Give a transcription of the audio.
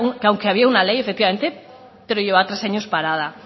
que aunque había una ley efectivamente pero lleva tres años parada